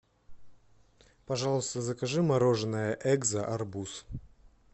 пожалуйста закажи мороженое экзо арбуз